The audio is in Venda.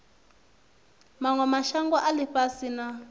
manwe mashango a ifhasi na